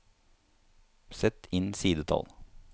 Sett inn sidetall